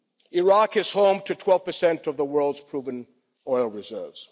Iraq is home to 12 per cent of the world's proven oil reserves.